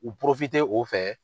U o fɛ